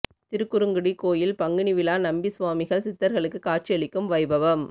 திருக்குறுங்குடி கோயில் பங்குனி விழா நம்பி சுவாமிகள் சித்தர்களுக்கு காட்சி அளிக்கும் வைபவம்